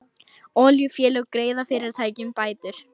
Olíufélög greiða fyrirtækjum bætur